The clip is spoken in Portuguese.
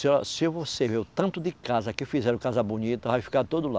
Se a, se você ver o tanto de casa que fizeram, casa bonita, vai ficar tudo lá.